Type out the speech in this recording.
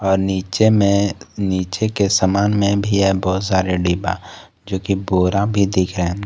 और नीचे में नीचे के समान में भी है बहुत सारे डिब्बा जोकि बोरा भी दिख रहे है।